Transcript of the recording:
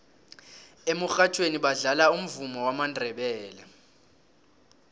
emurhatjhweni badlala umvumo wamandebele